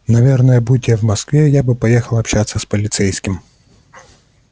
наверное будь я в москве я бы поехал общаться с полицейским